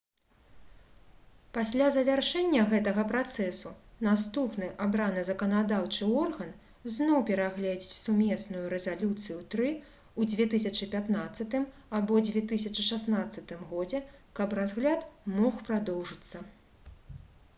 пасля завяршэння гэтага працэсу наступны абраны заканадаўчы орган зноў перагледзіць сумесную рэзалюцыю-3 у 2015 або 2016 годзе каб разгляд мог прадоўжыцца